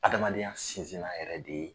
Adamadenya sinsin na yɛrɛ de ye